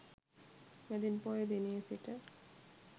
මැදින් පෝය දිනයේ සිට